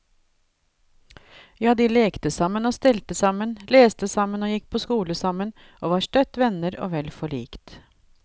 Ja, de lekte sammen og stelte sammen, leste sammen og gikk på skole sammen, og var støtt venner og vel forlikt.